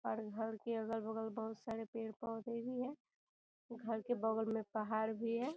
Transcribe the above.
और घर के अगल-बगल बहुत सारे पेड़-पौधे भी है घर के बगल में पहाड़ भी है।